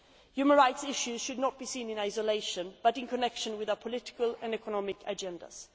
Human rights issues should not be seen in isolation but in connection with our political and economic agendas.